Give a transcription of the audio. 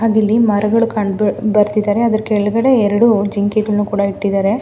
ಅದಿಲ್ಲಿ ಮರಗಳು ಕಂಡು ಬರುತಿದ್ದಾರೆ ಅದರ ಕೆಳಗಡೆ ಎರಡು ಜಿಂಕೆಗಳನ್ನು ಕೂಡ ಇಟ್ಟಿದ್ದಾರೆ.